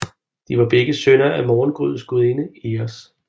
De var begge sønner af morgengryets gudinde Eos